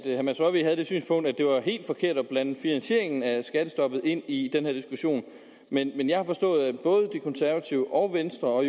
herre mads rørvig havde det synspunkt at det var helt forkert at blande finansieringen af skattestoppet ind i den her diskussion men jeg har forstået at både de konservative og venstre og